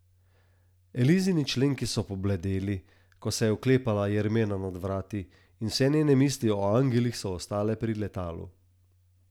Elizini členki so pobledeli, ko se je oklepala jermena nad vrati, in vse njene misli o angelih so ostale pri letalu.